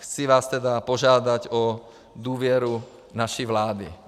Chci vás tedy požádat o důvěru naší vládě.